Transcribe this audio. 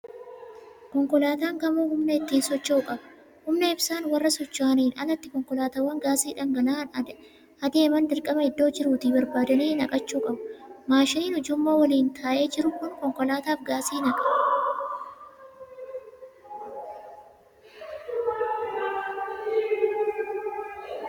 Konkolaataan kamuu humna ittiin socho'u qaba. Humna ibsaan warra socho'aniin alatti konkolaataawwan gaasii dhangala'aan adeeman dirqama iddoo jiruutii barbaadanii naqachuu qabu. Maashiniin ujummoo waliin taa'ee jiru kun konkolaataaf gaasii naqa.